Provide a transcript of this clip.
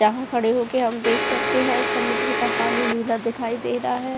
जहाँ खड़े होकर हम देख सकते हैं समुद्र का पानी नीला दिखाई दे रहा है।